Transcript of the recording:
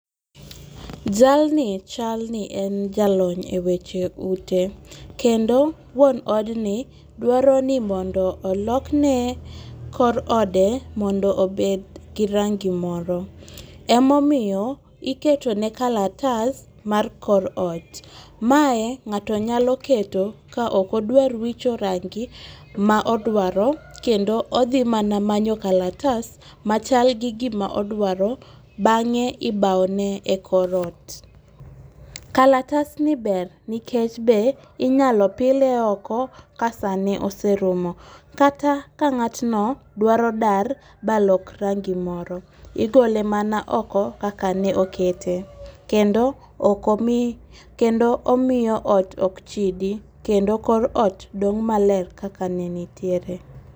Jalni chalni en jalony e weche ute, kendo wuon odni dwaroni mondo olokne kor ode mondo obed gi rangi moro, emomiyo iketone kalatas mar kor ot. Mae ng'ato nyalo keto ka ok odwar wicho rangi ma odwaro kendo othi mana manyo kalatas machalgi gima odwaro bang'e ibawone e korot. Kalatasni ber nikech inyalo pile oko ka sane oserumo kata ka ng'atno dwaro dar balok rangi moro igole mana oko kaka ne okete kendo okomi, kendo omiyo ot ok chidi kendo kor ot dong' maler kakanenitiere .